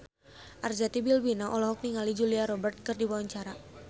Arzetti Bilbina olohok ningali Julia Robert keur diwawancara